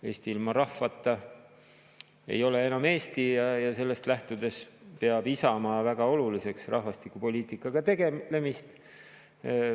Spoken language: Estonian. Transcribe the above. Eesti ilma rahvata ei ole enam Eesti ja sellest lähtudes peab Isamaa väga oluliseks rahvastikupoliitikaga tegelemist.